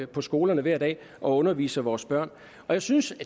på skolerne hver dag og underviser vores børn jeg synes